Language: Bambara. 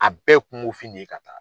A bɛɛ ye kungo fin de ka taa.